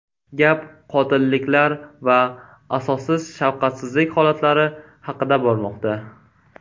Gap qotilliklar va asossiz shafqatsizlik holatlari haqida bormoqda.